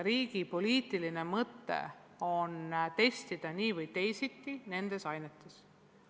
Riigi poliitiline mõte on nii või teisiti nendes ainetes omandatut testida.